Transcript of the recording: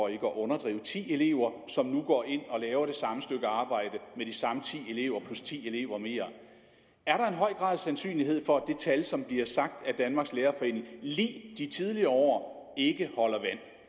at underdrive ti elever som nu går ind og laver det samme stykke arbejde med de samme ti elever plus ti elever mere er der en høj grad af sandsynlighed for at det tal som bliver sagt af danmarks lærerforening lig de tidligere år ikke holder